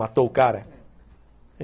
Matou o cara.